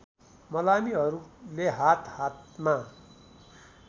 मलामीहरूले हात हातमा